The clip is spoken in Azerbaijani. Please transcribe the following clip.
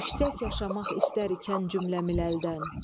Yüksək yaşamaq istər ikən cümləmil əldən.